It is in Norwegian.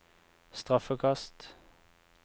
straffekast